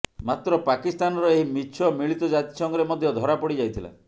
ମାତ୍ର ପାକିସ୍ତାନର ଏହି ମିଛ ମିଳିତ ଜାତିସଂଘରେ ମଧ୍ୟ ଧରାପଡ଼ି ଯାଇଥିଲା